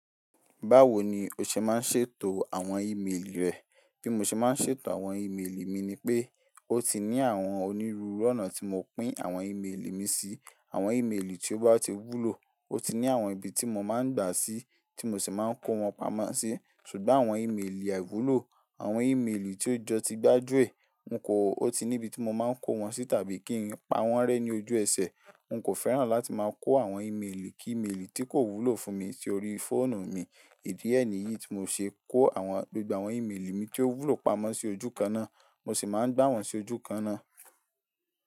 Báwo ni o ṣe máa ń ṣètò àwọn ímeèlì rẹ? Bí mo ṣe máa ń ṣètò àwọn ímeèlì mi ni pé, ó ti ní àwọn onírúurú ọ̀nà tí mo pín àwọn ímeèlì mi sí. Àwọn ímeèlì tí ó bá ti wúlò, ó ti ní àwọn ibi tí mo máa ń gbà sí, tí mo sì máa ń kó wọn pamọ́ sí. Sugbon àwọn ímeèlì àìwúlò, àwọn ímeèlì tí ó jọ ti gbájúẹ̀, n kò, ó ti ní ibi tí mo máa ń kó wọn sí tàbí kí n pa wọ́n rẹ́ ní ojú ẹsẹ̀. N kò fẹ́ràn láti máa kó àwọn ímeèlì kí ímeèlì tí kò wúlò fún mi sí orí fóònù mi. Idi e ni yìí tí mo ṣe kó àwọn, gbogbo àwọn ímeèlì mi tí ó wúlò pamọ́ sí ojú kan náà, mo sì máa ń gbà wọ́n sí ojú kan náà.